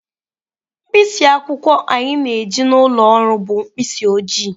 Mkpịsị akwụkwọ anyị na-eji n'ụlọ ọrụ bụ mkpịsị oji.